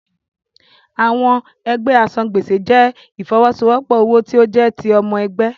Àwọn ẹgbẹ́ asan-gbèsè jẹ́ ìfọwọ́sowọ́pọ̀ owó tí ó jẹ́ ti ọmọ ẹgbẹ́.